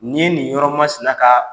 Nin ye nin yɔrɔmasina kan